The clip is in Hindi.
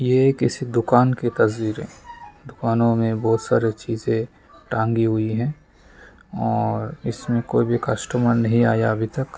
यह किसी दुकान की तस्वीरें दुकानों में बहुत सारे चीजे टंगी हुई है और इसमें कोई भी कस्टमर नहीं आया अभी तक।